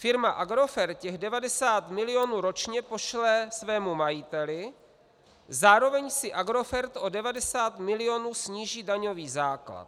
Firma Agrofert těch 90 milionů ročně pošle svému majiteli, zároveň si Agrofert o 90 milionů sníží daňový základ.